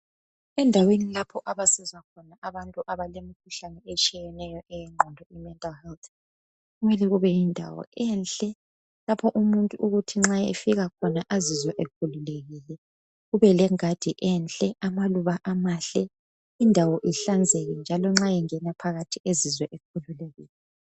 Endaweni lapho abasiza khona abantu abalemikhuhlane etshiyeneyo eyengqondo imental health kumele kube yindawo enhle lapho umuntu ukuthi nxa efika khona azizwe ekhululekile. Kube lengadi enhle, amaluba amahle, indawo ihlanzeke njalo nxa engena phakathi ezizwe ekhululekile.